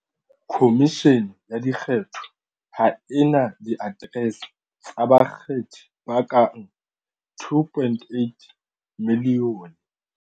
Khomishene ya Dikgetho ha e na diaterese tsa bakgethi ba ka bang 2.8 milione.